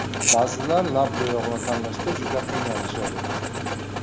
Ba’zilar lab bo‘yog‘ini tanlashda juda qiynalishadi.